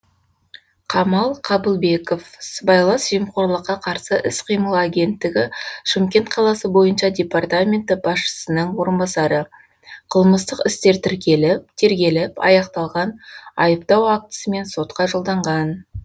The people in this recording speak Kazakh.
камал қабылбеков сыбайлас жемқорлыққа қарсы іс қимыл агенттігі шымкент қаласы бойынша департаменті басшысының орынбасары қылмыстық істер тергеліп аяқталған айыптау актісімен сотқа жолданған